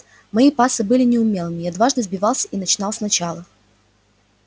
мои пассы были неумелыми я дважды сбивался и начинал сначала